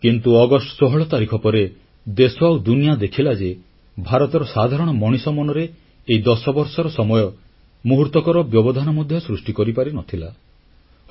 କିନ୍ତୁ ଅଗଷ୍ଟ 16 ତାରିଖ ପରେ ଦେଶ ଆଉ ଦୁନିଆ ଦେଖିଲା ଯେ ଭାରତର ସାଧାରଣ ମଣିଷ ମନରେ ଏହି 10 ବର୍ଷର ସମୟ ମୁହୂର୍ତ୍ତକର ବ୍ୟବଧାନ ମଧ୍ୟ ସୃଷ୍ଟି କରିପାରିନଥିଲା